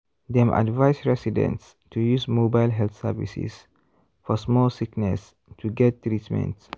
dem advise residents to use mobile health services for small sickness to get treatment.